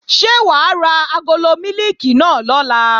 Ṣé wà á ra agolo mílìkì náà lọ̀la?